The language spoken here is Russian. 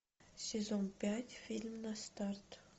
сезон пять фильм на старт